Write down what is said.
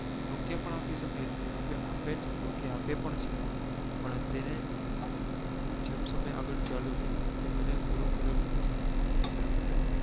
Nokia પણ આપી સકે અને આપે nokia આપે પણ છે પણ તેને જેમ સમય આગળ ચાલ્યો તેમ એને grow કરેલું નથી એટલા માટે